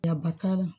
Yaba t'a la